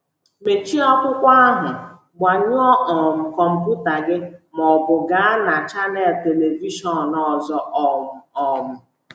Mechie akwụkwọ ahụ, gbanyụọ um kọmputa gị, ma ọ bụ gaa na chanel telivishọn ọzọ um! um